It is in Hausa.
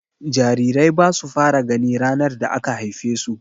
Jarirai basu fara gani ranar da aka haife su.